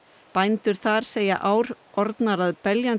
bændur þar segja ár orðnar að beljandi